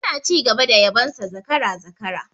Suna ci gaba da yabon sa zakara, zakara